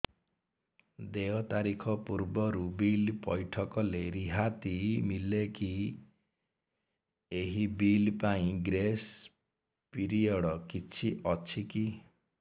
ଦେୟ ତାରିଖ ପୂର୍ବରୁ ବିଲ୍ ପୈଠ କଲେ ରିହାତି ମିଲେକି ଏହି ବିଲ୍ ପାଇଁ ଗ୍ରେସ୍ ପିରିୟଡ଼ କିଛି ଅଛିକି